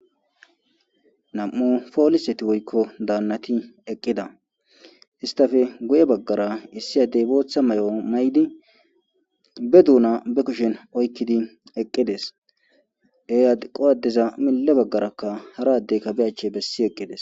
nam7u pooliseti woykko daannati eqqida istafe guye baggara issi addey bootha may7o may7di be duuna be kushen oykkidi eqqides dey adi qowaddeza mile baggarakka haraddey kabe ache bessi eqqides